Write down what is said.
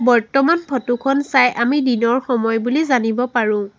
বৰ্তমান ফটো খন চাই আমি দিনৰ সময় বুলি জানিব পাৰো।